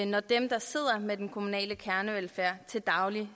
når dem der sidder med den kommunale kernevelfærd til daglig